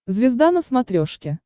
звезда на смотрешке